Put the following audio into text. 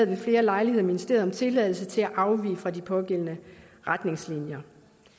ved flere lejligheder ministeriet om tilladelse til at afvige fra de pågældende retningslinjer